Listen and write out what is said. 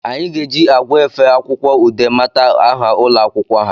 Anyị ga eji agwa efe akwụkwọ Ude mata aha ụlọ akwụkwọ ha